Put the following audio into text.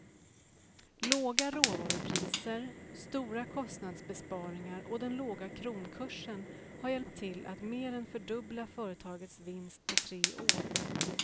Låga råvarupriser, stora kostnadsbesparingar och den låga kronkursen har hjälpt till att mer än fördubbla företagets vinst på tre år.